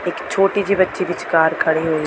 ਇੱਕ ਛੋਟੀ ਜਿਹੀ ਬੱਚੀ ਵਿਚਕਾਰ ਖੜ੍ਹੀ ਹੋਈ ਹੈ।